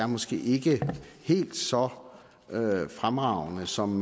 måske ikke er helt så fremragende som